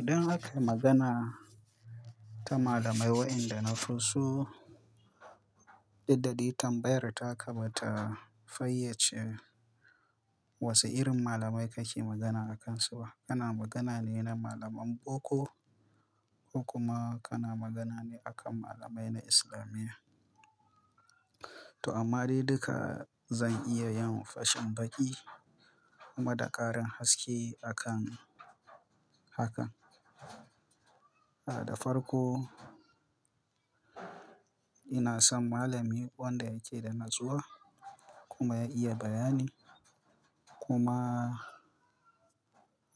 Idan aka yi magana ta malamai, wa'ianda na fi so, dudda dai tambayar ta ka ba ta fayyace wasu irin malamai kake magana akansu ba. Kana magana ne na malaman boko ko kuma kana magana ne akan malamai na islamiya. To amma dai duka zan iya yin fashin baƙi kuma da ƙarin haske akan haka. A da farko, ina son malami wanda yake da natsuwa kuma ya iya bayani kuma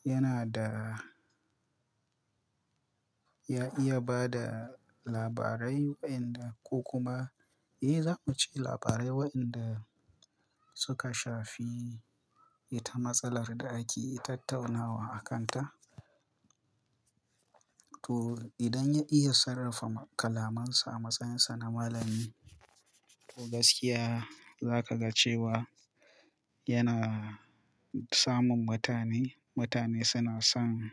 yana da ya iya ba da labarai wa'inda ko kuma eh za mu ce labarai wa'inda suka shafi ita matsalar da ake tattaunawa akanta. To idan ya iya sarrafa kalamansa a matsayinsa na malami, to gaskiya za ka ga cewa yana samun mutane. Mutane suna son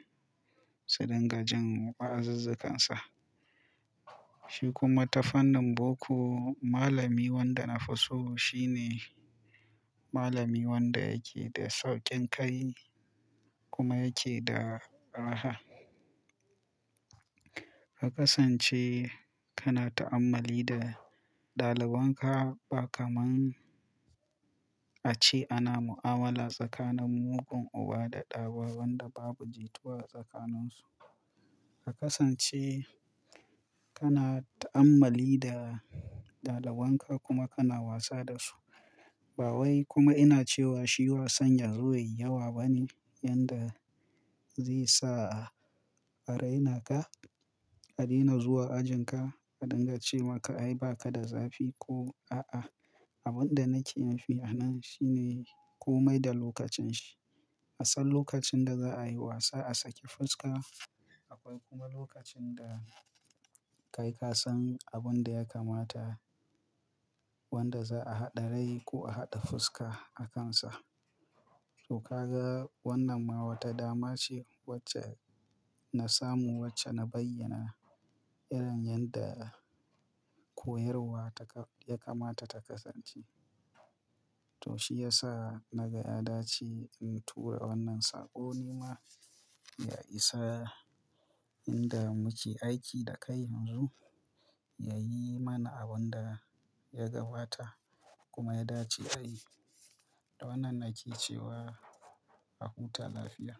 su dinga jin wa'azuzzukansa. Shi kuma ta fannin boko, malami wanda na fi so shi ne malami wanda yake da sauƙin kai kuma yake da raha. A kasance kana ta'ammali da ɗaliban ka ba kamar a ce ana mu'amala tsakanin mugun uba da ɗa ba wanda babu jituwa tsakaninsu. A kasance kana ta'ammali da ɗaliban ka kuma kana wasa da su. Ba wai kuma ina cewa shi wasan yazo yayi yawa bane yanda zai sa a raina ka, a daina zuwa ajin ka, a dinga ce maka ai baka da zafi ko a'a. Abin da nake nufi a nan shi ne komai da lokacin shi. A san lokacin da za'a yi wasa, a saki fuska. Akwai kuma lokacin da kai ka san abin da ya kamata wanda za'a haɗa rai ko a haɗa fuska akansa. To ka ga wannan ma wata dama ce wacce na samu wacce na bayyana irin yanda koyarwa ta ka ya kamata ta kasance. To shi ya sa naga ya dace in tura wannan saƙo ni ma ya isa inda muke aiki da kai yanzu ya yi mana abin da ya gabata kuma ya dace ai. Da wannan na ke cewa aka wuta lafiya.